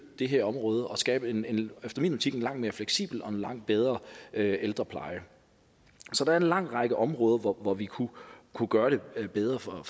det her område og skabe en efter min optik langt mere fleksibel og langt bedre ældrepleje så der er en lang række områder hvor vi kunne kunne gøre det bedre for